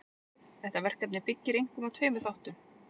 Þetta verkefni byggir einkum á tveimur þáttum.